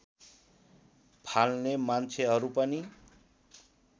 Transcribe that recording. फाल्ने मान्छेहरू पनि